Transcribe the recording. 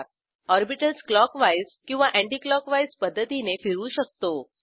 orbitals clockwise किंवा anticlockwise पध्दतीने फिरवू शकतो